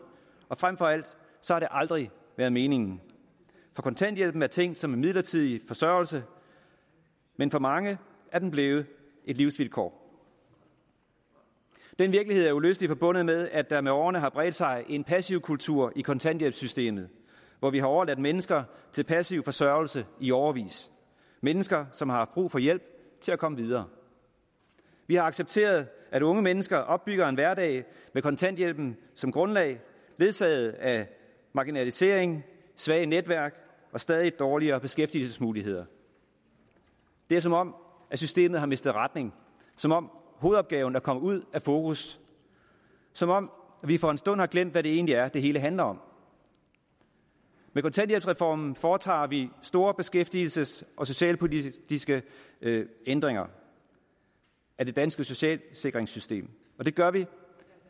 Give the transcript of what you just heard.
og frem for alt har det aldrig været meningen for kontanthjælpen er tænkt som en midlertidig forsørgelse men for mange er den blevet et livsvilkår den virkelighed er uløseligt forbundet med at der med årene har bredt sig en passivkultur i kontanthjælpssystemet hvor vi har overladt mennesker til passiv forsørgelse i årevis mennesker som har haft brug for hjælp til at komme videre vi har accepteret at unge mennesker opbygger en hverdag med kontanthjælpen som grundlag ledsaget af marginalisering svage netværk og stadig dårligere beskæftigelsesmuligheder det er som om systemet har mistet retning som om hovedopgaven er kommet ud af fokus som om vi for en stund har glemt hvad det egentlig er det hele handler om med kontanthjælpsreformen foretager vi store beskæftigelsesmæssige og socialpolitiske ændringer af det danske socialsikringssystem og det gør vi